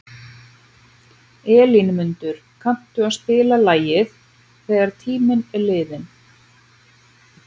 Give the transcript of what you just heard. Elínmundur, kanntu að spila lagið „Þegar tíminn er liðinn“?